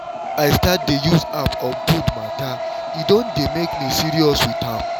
since i start dey use app on food matter e don dey make me serious with am